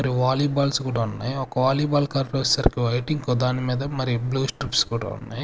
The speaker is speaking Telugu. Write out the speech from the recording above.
మరి వాలీ బాల్స్ కూడా ఉన్నాయి ఒక వాలీ బాల్ కలర్ వచ్చేసరికి వైట్ ఇంకో దాని మీద మరి బ్లూ స్ట్రిప్స్ కూడా ఉన్నాయి.